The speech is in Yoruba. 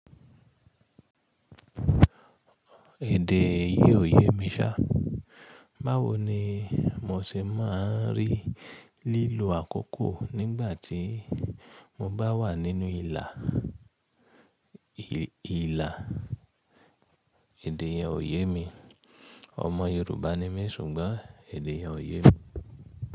Èdè yìí ò yé mi ṣá, báwo ni mo ṣe máa ń rí lílọ àkókò nígbà tí mo bá wà nínú ìlà, ìlà èdè yẹn ò yé mi. Ọmọ Yorùbá ni mí ṣùgbọ́n èdè yẹn ò yé mi.